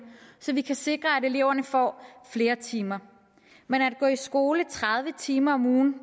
så vi kan sikre at eleverne får flere timer men at gå i skole tredive timer om ugen